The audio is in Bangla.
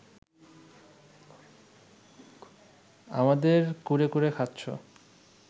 আমাদের কুরে কুরে খাচ্ছ